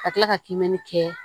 Ka tila ka kiimɛni kɛ